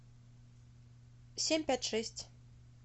семь пять шесть